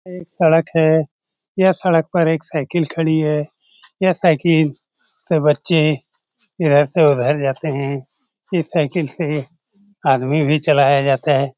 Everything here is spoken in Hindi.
एक सड़क है यह सड़क पर एक साइकिल खड़ी है यह साइकिल से बच्चे इधर से उधर जाते हैं इस साइकिल से आदमी भी चलाया जाता है।